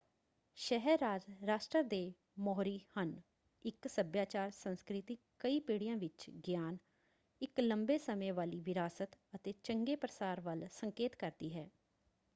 ਸ਼ਹਿਰ-ਰਾਜ ਰਾਸ਼ਟਰ ਦੇ ਮੋਹਰੀ ਹਨ। ਇੱਕ ਸੱਭਿਆਚਾਰ ਸੰਸਕ੍ਰਿਤੀ ਕਈ ਪੀੜੀਆਂ ਵਿੱਚ ਗਿਆਨ ਇੱਕ ਲੰਬੇ ਸਮੇਂ ਵਾਲੀ ਵਿਰਾਸਤ ਅਤੇ ਚੰਗੇ ਪ੍ਰਸਾਰ ਵੱਲ ਸੰਕੇਤ ਕਰਦੀ ਹੈ।